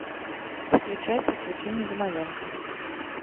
включай приключения домовенка